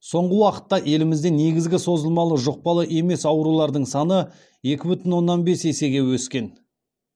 соңғы уақытта елімізде негізгі созылмалы жұқпалы емес аурулардың саны екі бүтін оннан бес есеге өскен